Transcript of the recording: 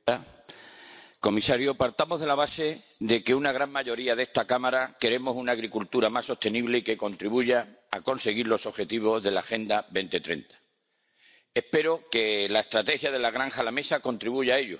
Señora presidenta, señor comisario, partamos de la base de que una gran mayoría de esta Cámara queremos una agricultura más sostenible y que contribuya a conseguir los Objetivos de la Agenda 2030. Espero que la estrategia de la granja a la mesa contribuya a ello,